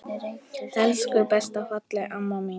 Elsku besta fallega amma mín.